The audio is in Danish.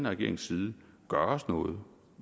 regerings side gøres noget